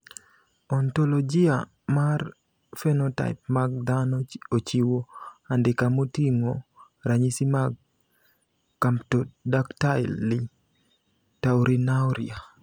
Ontologia mar phenotype mag dhano ochiwo andika moting`o ranyisi mag Camptodactyly taurinuria.